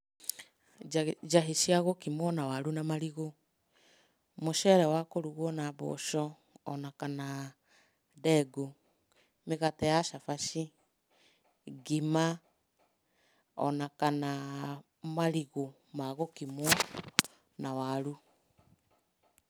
Njahĩ cia gũkimwo na waru na marigũ, mũceere wa kũrugwo na mboco o na kana ndengũ, mĩgate ya cabaci, ngima o na kana marigũ ma gũkimwo na waru.